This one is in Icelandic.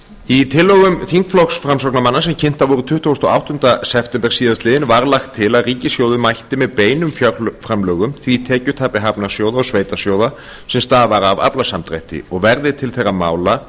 í tillögum þingflokks framsóknarmanna sem kynntar voru tuttugasta og áttunda september síðastliðinn var lagt til að ríkissjóður mætti með beinum fjárframlögum því tekjutapi hafnarsjóða og sveitarsjóða sem stafar af aflasamdrætti og verði til þeirra mála